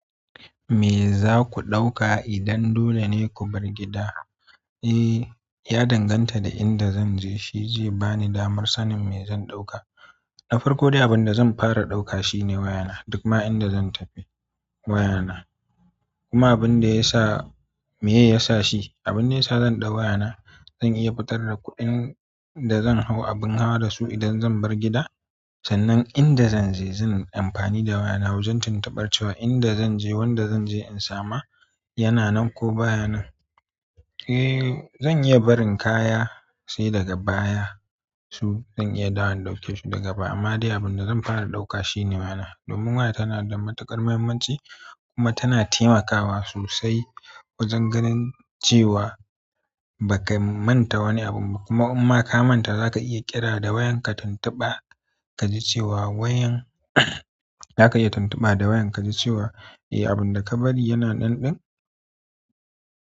Me za ku ɗauka idan dole ne ku bar gida? Eh, ya danganta da inda zan je. Shi zai ba ni damar sanin me zan ɗauka. Da farko dai abin zan fara ɗauka shine wayana duk ma in da zan tafi wayana kuma abin da ya sa, me ya sa shi, abin da ya sa zan ɗau wayana, zan iya fitar da kuɗin da zan hau abin hawa da su idan zan bar gida. Sannan in da zan je zan amfani da wayana zan tuntubar cewa inda zan je, wanda zan je in samu, yana nan ko baya nan. Eh, zan iya barin kaya sai daga baya su. Zan iya dawo in ɗauke su daga baya. Amma dai abin da zan fara ɗauka shi ne wayana. Domin waya tana da matuƙar muhimmanci kuma tana taimakawa sosai wajen ganin cewa ba ka manta wani abu ba. Kuma in ma ka manta, za ka iya ƙira da wayarka tuntuba ka ji cewa wayan za ka iya tuntuba da wayan ka ji cewa eh, abin da ka bari yana nan ɗin.